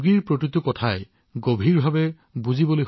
প্ৰতিটো কথা বিশদভাৱে তেওঁ বুজাই দিব পাৰে